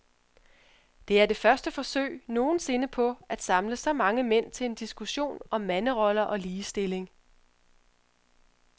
Det er det første forsøg nogen sinde på at samle så mange mænd til en diskussion om manderoller og ligestilling.